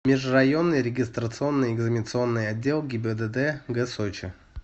межрайонный регистрационно экзаменационный отдел гибдд г сочи